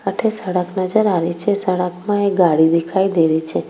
अठे सड़क नजर आ रही छे सड़क में एक गाड़ी दिखाई दे रही छे।